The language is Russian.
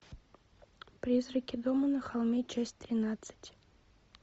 призраки дома на холме часть тринадцать